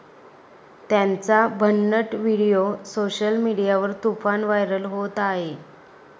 त्यांचा भन्नट video social मीडियावर तुफान व्हायरल होत आहे.